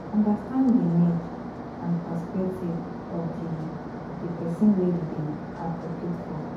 Understand di need and perspective of di di person wey you dey advocate for